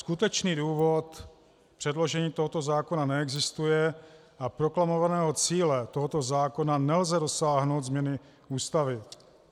Skutečný důvod předložení tohoto zákona neexistuje a proklamovaného cíle tohoto zákona nelze dosáhnout změnou Ústavy.